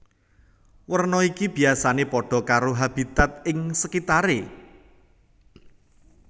Werna iki biyasané padha karo habitat ing sekitaré